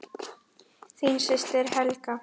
Þín systir Helga.